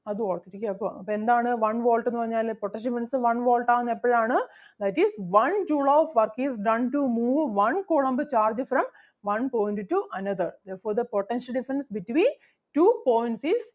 അത് ഓർത്ത് ഇരിക്കുക അപ്പൊ അപ്പം എന്താണ് one volt എന്ന് പറഞ്ഞാല് potential difference one volt ആകുന്നത് എപ്പഴാണ് that is one joule of work is done to move one coulomb charge from one point to another therefore the potential difference between two points is